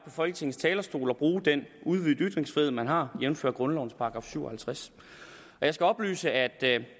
folketingets talerstol og bruge den udvidede ytringsfrihed man har jævnfør grundlovens § syv og halvtreds jeg skal oplyse at